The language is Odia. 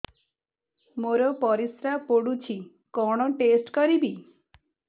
ମୋର ପରିସ୍ରା ପୋଡୁଛି କଣ ଟେଷ୍ଟ କରିବି